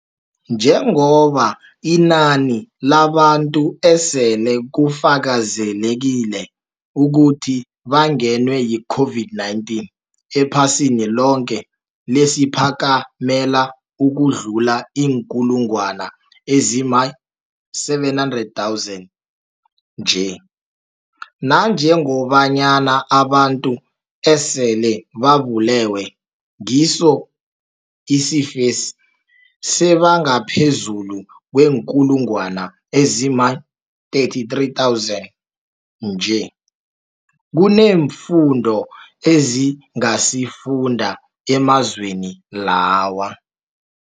Njengoba inani labantu esele kufakazelekile ukuthi bangenwe yi-COVID-19 ephasini loke seliphakamela ukudlula iinkulungwana ezima-700 000 nje, nanjengobanyana abantu esele babulewe ngiso isifesi sebangaphezulu kweenkulungwana ezima-33 000 nje, kuneemfundo esingazifunda emazweni lawa.